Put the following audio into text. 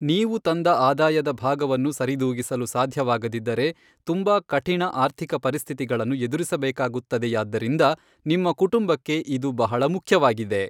ನೀವು ತಂದ ಆದಾಯದ ಭಾಗವನ್ನು ಸರಿದೂಗಿಸಲು ಸಾಧ್ಯವಾಗದಿದ್ದರೆ ತುಂಬಾ ಕಠಿಣ ಆರ್ಥಿಕ ಪರಿಸ್ಥಿತಿಗಳನ್ನು ಎದುರಿಸಬೇಕಾಗುತ್ತದೆಯಾದ್ದರಿಂದ ನಿಮ್ಮ ಕುಟುಂಬಕ್ಕೆ ಇದು ಬಹಳ ಮುಖ್ಯವಾಗಿದೆ